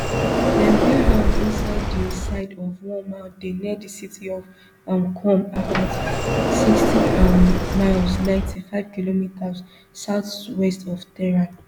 dem build am inside di side of one mountain near di city of um qom about sixty um miles ninety-five kilometres southwest of tehran